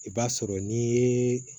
I b'a sɔrɔ n'i ye